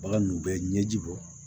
Bagan ninnu bɛ ɲɛji bɔ